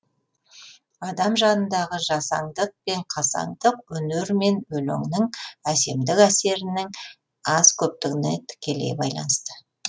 адам жанындағы жасаңдық пен қасаңдық өнер ме өлеңнің әсемдік әсерінің аз көптігіне тікелей байланысты